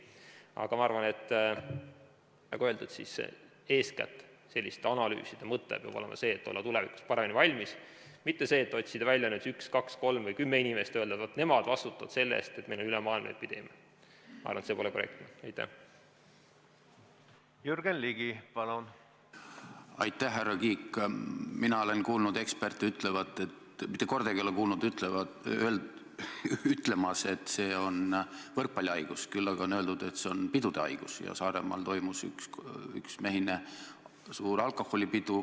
Aga ma arvan, nagu öeldud, eeskätt peab selliste analüüside mõte olema see, et olla tulevikus paremini valmis, mitte see, et otsida välja üks, kaks, kolm või kümme inimest ja öelda, et nemad vastutavad selle eest, et meil on ülemaailmne epideemia.